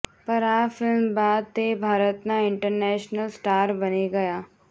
પર આ ફિલ્મ બાદ તે ભારતના ઈન્ટરનેશનલ સ્ટાર બની ગયા